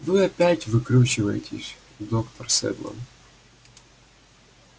вы опять выкручиваетесь доктор сэдлон